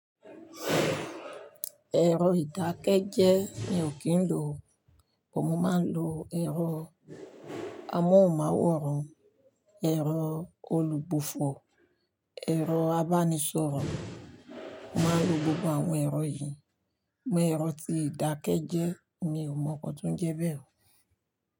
Ẹ̀rọ ìdákẹ́jẹ́ mi ò kí ń lò, but mo máa ń lo ẹ̀rọ amóhùnmáwòrán, ẹ̀rọ olùbùfù, ẹ̀rọ abánisọ̀rọ̀. Mo máa ń lo gbogbo àwọn ẹ̀rọ yìí, ṣùgbọ́n ẹ̀rọ tí ìdákẹ́ jẹ́ mi ò mọ ǹkan tó ń jẹ bẹ́ẹ̀.